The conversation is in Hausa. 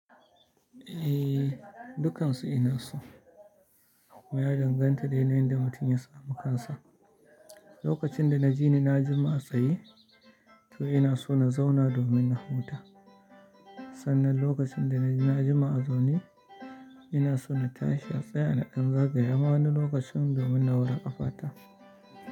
Eh, dukkansu ina so. Ya danganta da yanayin da mutum ya samu kansa. Lokacin da na ji ni na jima a tsaye, to ina so na zauna, domin na huta. Sannan lokacin da na jima a zaune, ina so na tashi a tsaya na ɗan zagaya ma wani lokacin, domin na wure ƙafata.